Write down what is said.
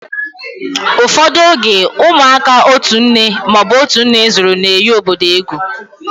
Ụfọdụ oge, ụmụaka otu nne ma ọ bụ otú nne zúru na-eghi obodo egwú